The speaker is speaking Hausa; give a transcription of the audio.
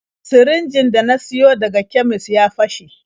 Sirinjin da na siyo daga kemis ya fashe.